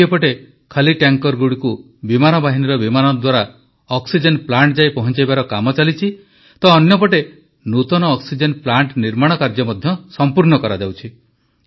ଗୋଟିଏ ପଟେ ଖାଲି ଟ୍ୟାଙ୍କରଗୁଡ଼ିକୁ ବିମାନବାହିନୀର ବିମାନ ଦ୍ୱାରା ଅକ୍ସିଜେନ ପ୍ଲାଣ୍ଟ ଯାଏ ପହଞ୍ଚାଇବାର କାମ ଚାଲିଛି ତ ଅନ୍ୟ ପଟେ ନୂତନ ଅକ୍ସିଜେନ ପ୍ଲାଣ୍ଟ ନିର୍ମାଣ କାର୍ଯ୍ୟ ମଧ୍ୟ ସମ୍ପୂର୍ଣ୍ଣ କରାଯାଉଛି